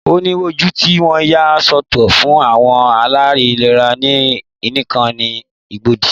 Ó ní woodu tí wọ́n yà soto fún àwọn aláìlera iná nìkan ní Igbobi.